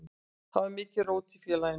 Þá var mikið rót í félaginu.